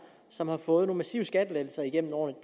som har fået nogle massive skattelettelser igennem årene